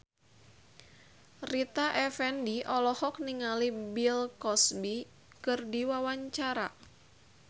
Rita Effendy olohok ningali Bill Cosby keur diwawancara